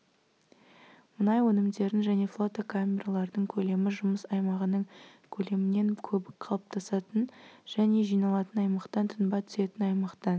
мұнай өнімдерін және флотокамералардың көлемі жұмыс аймағынының көлемінен көбік қалыптасатын және жиналатын аймақтан тұнба түсетін аймақтан